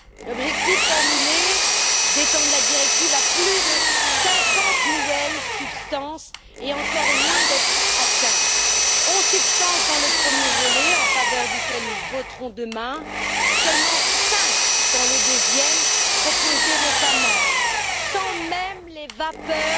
L'objectif formulé d'étendre la directive à plus de 50 nouvelles substances est encore loin d'être atteint onze substances dans le premier volet en faveur duquel nous voterons demain, seulement cinq dans le deuxième proposé récemment, sans même les vapeurs